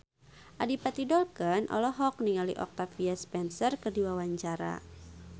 Adipati Dolken olohok ningali Octavia Spencer keur diwawancara